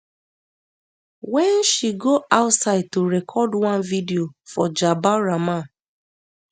wen she go outside to record one video for jabal rahmah